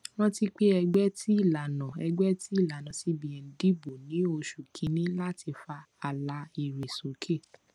rántí pé ẹgbẹ ti ìlànà ẹgbẹ ti ìlànà cbn dibò ní oṣù kínní láti fa àlà èrè sókè